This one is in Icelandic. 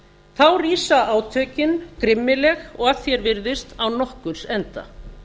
þá rísa átökin grimmileg og að því er virðist án nokkurs enda